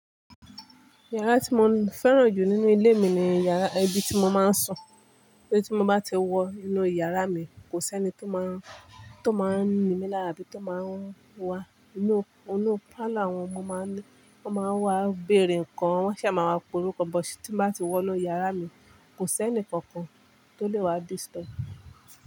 Yàrá tí mo fẹ́ràn jù nínú ilé mi ni yàrá, ibi tí mo máa ń sùn. Ibi tí mo bá ti wọ inú yàrá mi, kò sí ẹni tó máa ń, tó máa ń nimí lára bí to máa ń wá inú, inú pálọ̀ wọn, mo máa ń lé, wọ́n máa ń wá béèrè nǹkan, wọ́n ṣà máa wá pe orúkọ, but tí mo bá ti wọ inú yàrá mi, kò sí ẹnì kankan tó lè wá disturb.